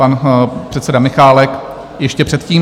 Pan předseda Michálek ještě předtím?